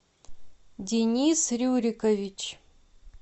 денис рюрикович